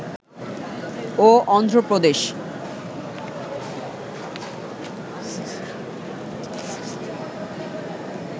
ও Andhra প্রদেশ